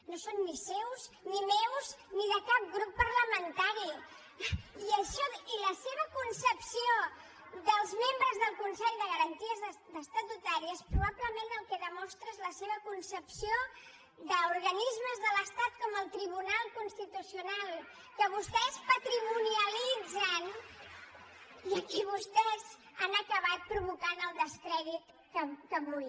no són ni seus ni meus ni de cap grup parlamentari i la seva concepció dels membres del consell de garanties estatutàries probablement el que demostra és la seva concepció d’organismes de l’estat com el tribunal constitucional que vostès patrimonialitzen i vostès han acabat provocant el descrèdit que avui